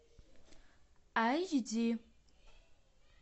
айч ди